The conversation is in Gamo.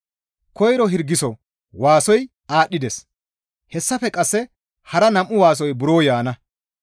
Koyro hirgiso waasoy aadhdhides; hessafe qasse hara nam7u waasoy buro yaana.